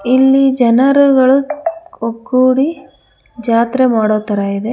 ಇಲ್ಲಿ ಜನರುಗಳು ಒಗ್ಗೂಡಿ ಜಾತ್ರೆ ಮಾಡೋ ತರ ಇದೆ.